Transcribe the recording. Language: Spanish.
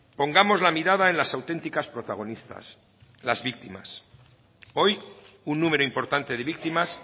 pongamos la mirada en las auténticas protagonistas las víctimas hoy un número importante de víctimas